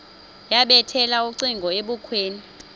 yabethela ucingo ebukhweni